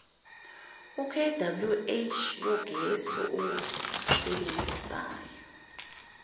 kwh yogesi owusebenzisayo